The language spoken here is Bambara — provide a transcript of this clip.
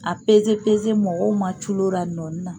A mɔgɔw ma culo ra nɔnin na.